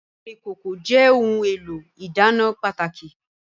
Àwọn ìkòkò jẹ́ ohun èlò ìdáná pàtàkì